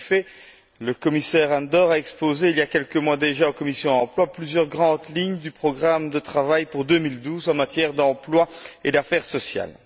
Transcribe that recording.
En effet, le commissaire Andor a exposé, il y a quelques mois déjà, à la commission Emploi plusieurs grandes lignes du programme de travail pour 2012 en matière d'emploi et d'affaires sociales.